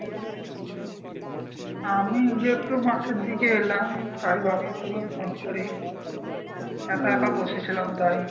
আমি এই যে একটু মাঠের দিকে এলাম তাই ভাবলাম তোকে ফোন করি। একা একা বলসেছিলাম তাই।